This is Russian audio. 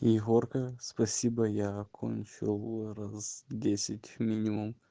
егорка спасибо я окончил раз десять минимум